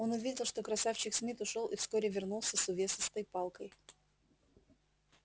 он увидел что красавчик смит ушёл и вскоре вернулся с увесистой палкой